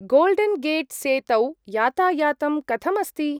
गोल्डेन्‌-गेट्‌-सेतौ यातायातं कथम् अस्ति?